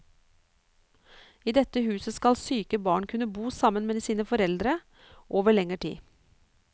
I dette huset skal syke barn kunne bo sammen med sine foreldre over lengre tid.